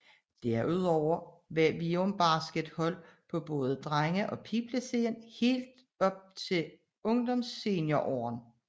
Derudover har Virum Basket hold på både drenge og pige siden helt op til ungsenior årene